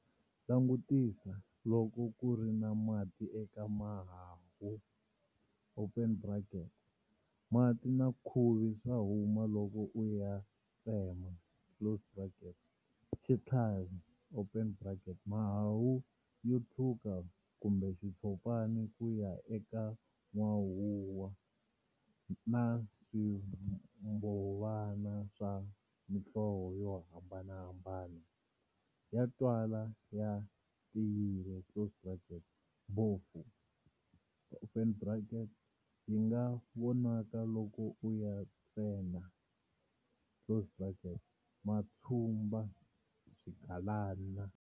Langutisa loko ku ri na mati eka mahahu, mati na khuvi swa huma loko u ya tsema, xitlhavi, mahahu yo tshuka kumbe xitshopana ku ya eka n'wahuva, na swimbhovana swa mhlovo yo hambana, ya twala ya tiyile, bofu, yi nga vonaka loko u ya tsena, matshumba, swigalana.